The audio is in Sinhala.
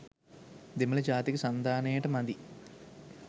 දෙමළ ජාතික සන්ධානයට මදි.